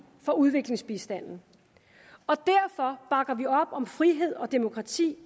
for udviklingsbistanden og derfor bakker vi op om frihed og demokrati